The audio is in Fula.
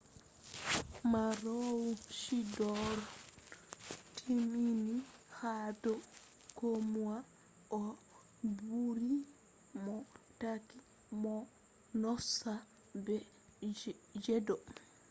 maroochydore timmini ha do komoi o buri mo tokki mo noosa be jego